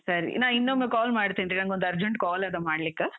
ಸರಿ, ನಾ ಇನ್ನೊಮ್ಮೆ call ಮಾಡ್ತೀನ್ರೀ, ನಂಗೊಂದ್ urgent call ಅದ ಮಾಡ್ಲಿಕ್ಕ.